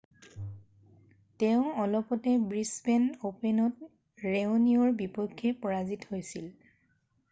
তেওঁ অলপতে ব্ৰিছবেন অ'পেনত ৰেঅ'নিকৰ বিপক্ষে পৰাজিত হৈছিল৷